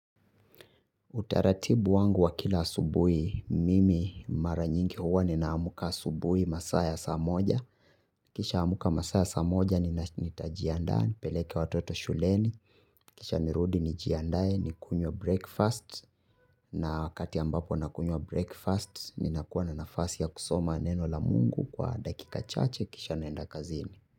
Utaratibu wangu wa kila subuhi mimi mara nyingi huwa ninaamka subuhi masaa ya saa moja. Kisha amka masaa ya samoja ni nitajiandaa nipeleke watoto shuleni. Kisha nirudi nijiandae nikunywe breakfast na wakati ambapo nakunywa breakfast ninakuwa na nafasi ya kusoma neno la Mungu kwa dakika chache kisha naenda kazini.